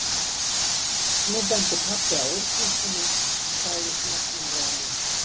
Nú benti pabbi á úrklippuna og sagði snjöllum rómi